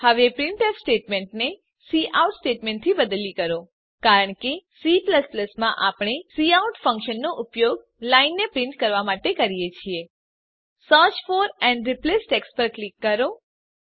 હવે પ્રિન્ટફ સ્ટેટમેંટને કાઉટ સ્ટેટમેંટથી બદલી કરો કારણ કે C માં આપણે કાઉટ ફંકશન નો ઉપયોગ લાઈનને પ્રીંટ કરવાં માટે કરીએ છીએ search for and replace text પર ક્લિક કરો